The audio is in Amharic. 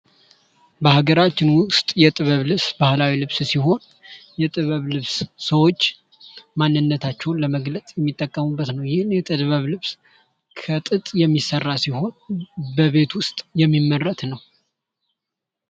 በሀገራችን ውስጥ የጥበብ ልብስ ባህላዊ ልብስ ሲሆን የጥበብ ልብስ ሰወች ማንነታቸውን ለመግለጽ የሚጠቀሙበት ነው። ይህን የጥበብ ልብስ ከጥጥ የሚሰራ ሲሆን, በቤት ውስጥ የሚመረት ነው።